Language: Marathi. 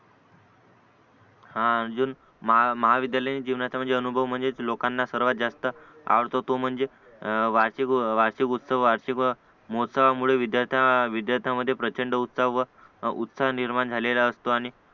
हा अजून महा महाविद्यालयीन जीवनाचा अनुभव म्हणजे लोकांना सर्वात जास्त आवडतो तो म्हणजे वाचे वाचे पुस्तक उत्साहामुळे विद्यार्थ्या विद्यार्थ्यांमध्ये प्रचंड उत्साह व उत्साह निर्माण झालेला असतो आणि